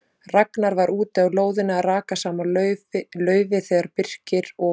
Ragnar var úti á lóðinni að raka saman laufi þegar Birkir og